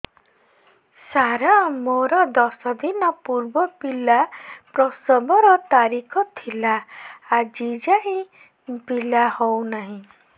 ସାର ମୋର ଦଶ ଦିନ ପୂର୍ବ ପିଲା ପ୍ରସଵ ର ତାରିଖ ଥିଲା ଆଜି ଯାଇଁ ପିଲା ହଉ ନାହିଁ